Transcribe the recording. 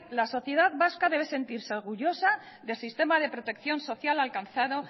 la sociedad vasca debe sentirse orgullosa del sistema de protección social alcanzado